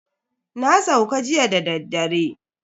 Na sauka jiya dadaddare.